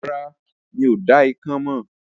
Rárá, mi ò dá ikán mọ̀